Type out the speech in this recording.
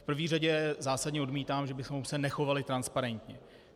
V první řadě zásadně odmítám, že bychom se nechovali transparentně.